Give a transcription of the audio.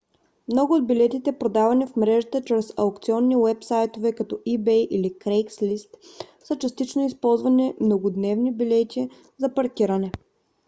много от билетите продавани в мрежата чрез аукционни уебсайтове като ebay или craigslist са частично използвани многодневни билети за паркиране